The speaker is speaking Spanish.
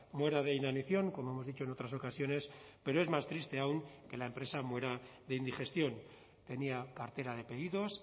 muera de inanición como hemos dicho en otras ocasiones pero es más triste aún que la empresa muera de indigestión tenía cartera de pedidos